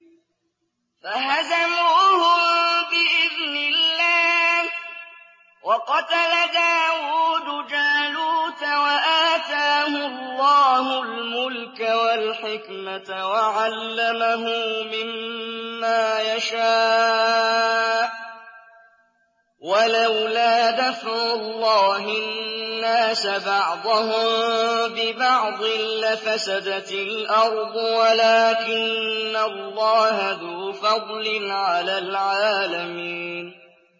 فَهَزَمُوهُم بِإِذْنِ اللَّهِ وَقَتَلَ دَاوُودُ جَالُوتَ وَآتَاهُ اللَّهُ الْمُلْكَ وَالْحِكْمَةَ وَعَلَّمَهُ مِمَّا يَشَاءُ ۗ وَلَوْلَا دَفْعُ اللَّهِ النَّاسَ بَعْضَهُم بِبَعْضٍ لَّفَسَدَتِ الْأَرْضُ وَلَٰكِنَّ اللَّهَ ذُو فَضْلٍ عَلَى الْعَالَمِينَ